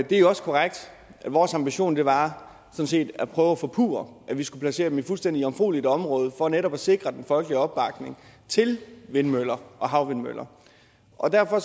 det er også korrekt at vores ambition sådan set var at prøve at forpurre at vi skulle placere dem i fuldstændig jomfrueligt område for netop at sikre den folkelige opbakning til vindmøller og havvindmøller og derfor